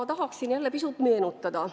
Ma tahaksin jälle pisut meenutada.